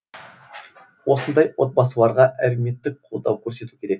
осындай отбасыларға әлеуметтік қолдау көрсету керек